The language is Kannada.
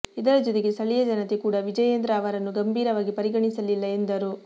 ಇದರ ಜೊತೆಗೆ ಸ್ಥಳೀಯ ಜನತೆ ಕೂಡ ವಿಜಯೇಂದ್ರ ಅವರನ್ನು ಗಂಭೀರವಾಗಿ ಪರಿಗಣಿಸಲಿಲ್ಲ ಎಂದರು